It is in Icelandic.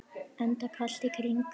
Enda allt í kring.